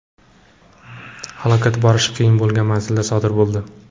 Halokat borish qiyin bo‘lgan manzilda sodir bo‘ldi.